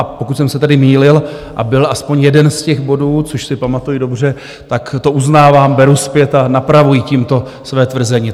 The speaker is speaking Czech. A pokud jsem se tady mýlil a byl aspoň jeden z těch bodů, což si pamatuji dobře, tak toto uznávám, beru zpět a napravuji tímto své tvrzení.